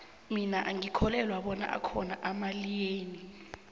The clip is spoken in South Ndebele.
mina angikholwelwa bona akhona amaeliyeni